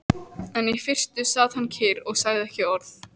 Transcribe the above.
En í fyrstu sat hann kyrr og sagði ekki orð.